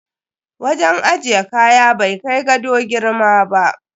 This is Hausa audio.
Wajen ajiye kaya bai kai gado girma ba.